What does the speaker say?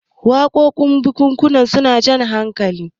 wakokin bukukuwa suna Jan hakali